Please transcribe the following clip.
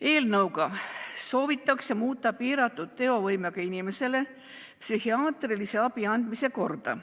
Eelnõuga soovitakse muuta piiratud teovõimega inimesele psühhiaatrilise abi andmise korda.